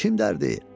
Kim dərdi?